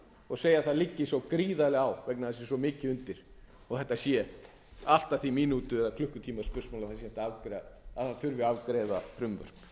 og segja að það liggi svo gríðarlega á af því að það sé svo mikið undir og þetta sé allt að því mínútu eða klukkustunda spursmál að afgreiða þurfi frumvörp